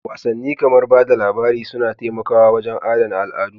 Wasanni kamar ba da labari suna taimakawa wajen adana al'adu